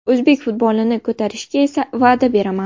O‘zbek futbolini ko‘tarishga esa va’da beraman!